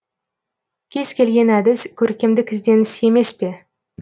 кез келген әдіс көркемдік ізденіс емес пе